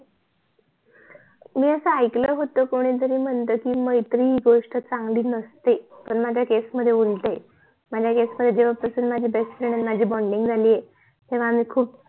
मी अस ऐकल होत कि कोणतरी म्हणत की मैत्री हि गोष्ट चांगली नसते पण माझ्या CASE मध्ये उलट आहे माझ्या CASE मध्ये जेव्हा पासून माझी BEST FRIEND आणि माझी BONDING झाली आहे तेव्हा आम्ही खूप